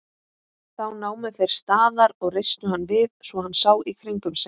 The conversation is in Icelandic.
Þá námu þeir staðar og reistu hann við svo hann sá í kringum sig.